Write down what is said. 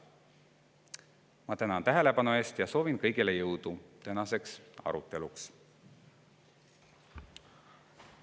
Ma tänan tähelepanu eest ja soovin kõigile jõudu tänaseks aruteluks!